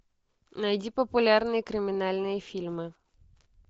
найди популярные криминальные фильмы